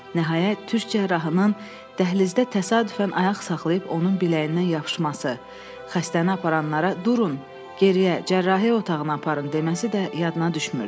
Nəhayət, türk cərrahının dəhlizdə təsadüfən ayaq saxlayıb onun biləyindən yapışması, xəstəni aparanlara durun, geriyə cərrahiyyə otağına aparın deməsi də yadına düşmürdü.